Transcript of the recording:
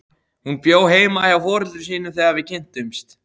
Hún bjó heima hjá foreldrum sínum þegar við kynntumst.